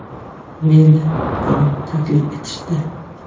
Meni ham taklif etishdi.